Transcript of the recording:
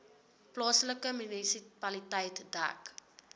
plaaslike munisipaliteit dek